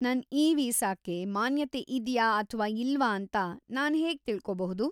ನನ್ ಇ-ವೀಸಾಕ್ಕೆ ಮಾನ್ಯತೆ ಇದ್ಯಾ ಅಥ್ವಾ ಇಲ್ವಾ ಅಂತ ನಾನ್ ಹೇಗ್ ತಿಳ್ಕೋಬಹುದು?